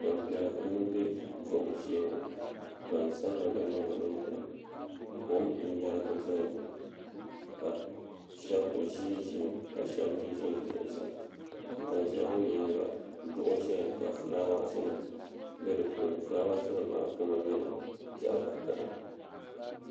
gbanpiɛla n bɛ kom shee gbansabila gba nyɛla bin biɛni kom n yɛrigi dɔya ŋɔ ka shab ʒinʒimi ka shab mii ʒɛnʒɛ zuɣusaa ban ʒiya ŋɔ nyaanga duɣu ʒɛya ka fulaawaasi nim bɛ di puuni fulaawaasi nim maa kama nyɛla zaɣ vakaɣali